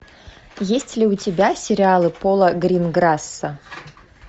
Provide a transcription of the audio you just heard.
есть ли у тебя сериалы пола гринграсса